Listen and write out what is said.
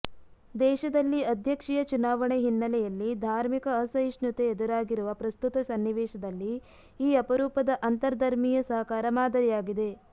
ದೇಶದಲ್ಲಿ ಅಧ್ಯಕ್ಷೀಯ ಚುನಾವಣೆ ಹಿನ್ನೆಲೆಯಲ್ಲಿ ಧಾರ್ಮಿಕ ಅಸಹಿಷ್ಣುತೆ ಎದುರಾಗಿರುವ ಪ್ರಸ್ತುತ ಸನ್ನಿವೇಶದಲ್ಲಿ ಈ ಅಪರೂಪದ ಅಂತರ್ಧರ್ಮೀಯ ಸಹಕಾರ ಮಾದರಿಯಾಗಿದೆ